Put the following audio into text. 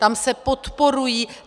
Tam se podporují...